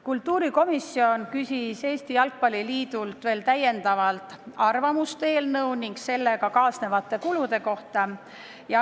Kultuurikomisjon küsis Eesti Jalgpalli Liidult veel täiendavalt arvamust eelnõu ning sellega kaasnevate kulude kohta.